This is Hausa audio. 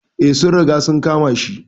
Eh, sun riga sun kama shi.